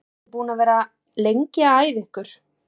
Eru þið búin að vera lengi að æfa ykkur?